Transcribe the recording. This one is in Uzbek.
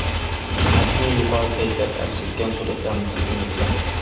AdMe yuqori kayfiyat aks etgan suratlarni taqdim etdi.